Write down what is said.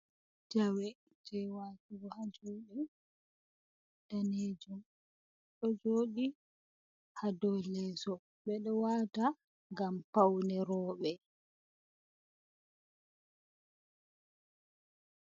Jewe je watugo ha juɗe, danejum ɗo joɗi ha do leso ɓeɗo wata ngam paune roɓe.